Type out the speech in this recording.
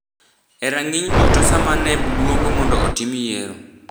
e rang’iny duto sama NEB luongo mondo otim yiero.